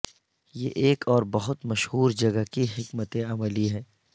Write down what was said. یہ ایک اور بہت مشہور جگہ کی حکمت عملی ہے